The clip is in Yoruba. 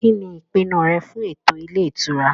Kíni ìpinnu rẹ fún ètò ilé ìtura?